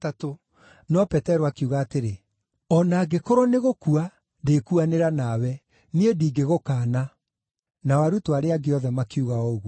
No Petero akiuga atĩrĩ, “O na angĩkorwo nĩgũkua ndĩkuanĩra nawe, niĩ ndingĩgũkaana.” Nao arutwo arĩa angĩ othe makiuga o ũguo.